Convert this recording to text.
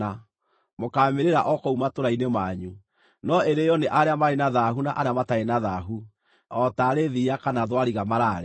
Mũkaamĩrĩĩra o kũu matũũra-inĩ manyu. No ĩrĩĩo nĩ arĩa marĩ na thaahu na arĩa matarĩ na thaahu, o taarĩ thiiya kana thwariga maraarĩa.